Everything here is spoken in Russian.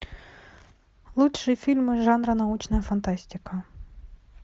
лучшие фильмы жанра научная фантастика